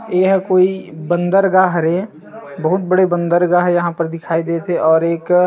एहा कोई बंदरगाह हरे बहुत बड़े बंदरगाह यहाँ पर दिखाई देत हे और एक--